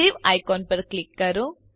save icon ઉપર click કરો